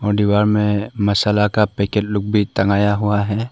और दीवार में मसाला का पैकेट लोग भी टंगाया हुआ है।